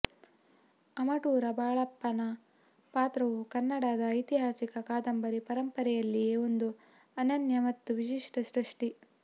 ಅಮಟೂರ ಬಾಳಪ್ಪನ ಪಾತ್ರವು ಕನ್ನಡದ ಐತಿಹಾಸಿಕ ಕಾದಂಬರಿ ಪರಂಪರೆಯಲ್ಲಿಯೇ ಒಂದು ಅನನ್ಯ ಮತ್ತು ವಿಶಿಷ್ಟ ಸೃಷ್ಟಿ